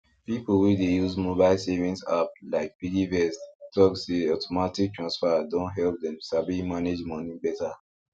people wey dey use mobile savings app like piggyvest talk say automatic transfer don help dem sabi manage money better